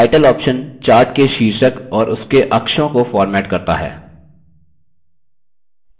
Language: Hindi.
title option chart के शीर्षक और उसके अक्षों को फ़ॉर्मेट करता है